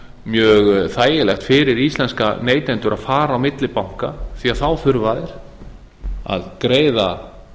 mjög þægilegt fyrir íslenska neytendur að fara á milli banka því þá þurfa þeir að greiða